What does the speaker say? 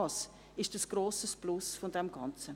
Auch dies ist ein grosses Plus des Ganzen.